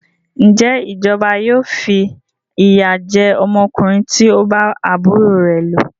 Ǹjẹ́ ìjọba yóò fi ìyà jẹ ọmọkùnrin tí o bá àbúrò rẹ lò?